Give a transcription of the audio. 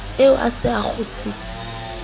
eo a se a kgutsitse